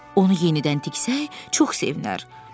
Onu yenidən tiksək çox sevinər.